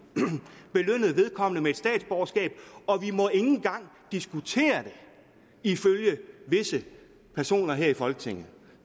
belønnet vedkommende med et statsborgerskab og vi må ikke engang diskutere det ifølge visse personer her i folketinget